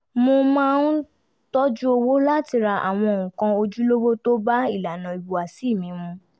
mo máa tọ́jú owó láti ra àwọn nǹkan ojúlówó tó bá ilànà ìhùwàsí mi mu